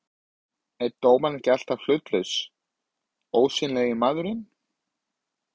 er dómarinn ekki alltaf hlutlausi, ósýnilegi maðurinn?